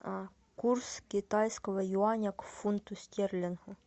курс китайского юаня к фунту стерлингу